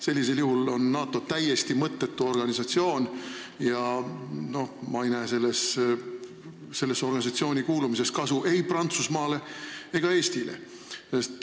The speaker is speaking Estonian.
Sellisel juhul on NATO täiesti mõttetu organisatsioon ja ma ei näe sellesse organisatsiooni kuulumisest kasu ei Prantsusmaale ega Eestile.